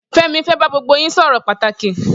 Femi fè bà gbógbó yin sọrọ pàtáki